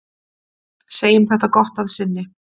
Segjum þetta gott að sinni.